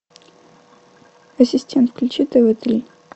ассистент включи тв три